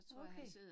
Okay